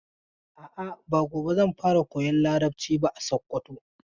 A'a, ba gobe zan fara koyan Larabci ba a Sokoto.